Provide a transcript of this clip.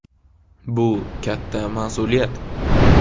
Bu katta mas’uliyat.